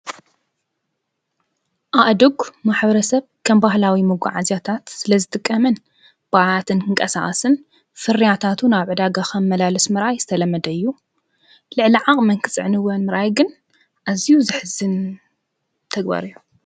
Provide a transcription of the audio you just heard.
ኣእድጕ ማኅበረ ሰብ ከምባህላዊ መጕዓ ዚያታት ስለ ዝትቀምን ብኣያትን ክንቀሣዓስን ፍርያታቱ ናበዳጋኸም መላልስመራይ ዝተለመደዩ ልዕሊዓቕ መንክጽዕንወን ምራይግን ኣዚዩ ዝሕዝን ተግበርዮ::